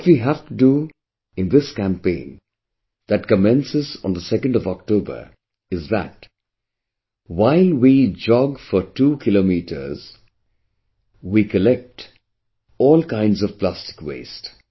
What we have to do in this campaign that commences on 2nd of October is that while we jog for 2 kilometers; and on the way, collect all kinds of plastic waste